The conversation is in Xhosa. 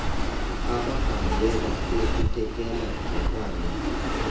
abhalwe bukekela hekwane